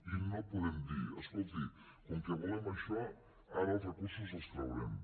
i no podem dir escolti com que volem això ara els recursos els traurem